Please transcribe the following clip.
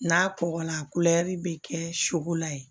N'a kɔgɔla bɛ kɛ sogo la yen